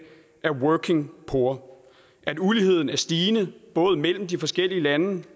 er working poor og at uligheden er stigende både mellem de forskellige lande